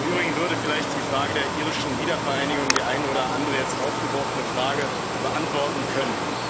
Im Übrigen würde vielleicht die Frage der irischen Wiedervereinigung die eine oder andere jetzt aufgeworfene Frage beantworten können.